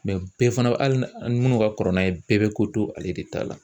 bɛɛ fana bɛ hali ni minnu ka kɔrɔ n'a ye bɛɛ bɛ ko to ale de ta la.